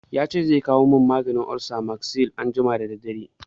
Ya ce zai kawo min maganin olsa Magsil anjima da daddare.